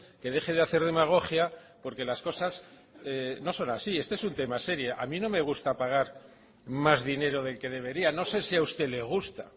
que deje de hacer demagogia porque las cosas no son así este es un tema serio a mí no me gusta pagar más dinero del que debería no sé si a usted le gusta